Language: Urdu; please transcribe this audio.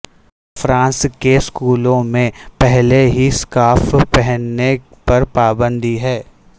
فرانس کے سکولوں میں پہلے ہی سکارف پہننے پر پابندی ہے